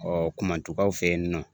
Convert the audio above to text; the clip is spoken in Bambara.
Ɔ Kumatukaw fɛ yen nɔ